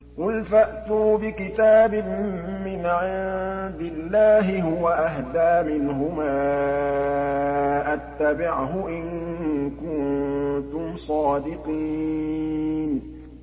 قُلْ فَأْتُوا بِكِتَابٍ مِّنْ عِندِ اللَّهِ هُوَ أَهْدَىٰ مِنْهُمَا أَتَّبِعْهُ إِن كُنتُمْ صَادِقِينَ